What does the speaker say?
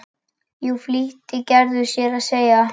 Jú flýtti Gerður sér að segja.